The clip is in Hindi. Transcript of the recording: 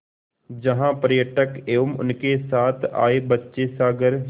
जहाँ पर्यटक एवं उनके साथ आए बच्चे सागर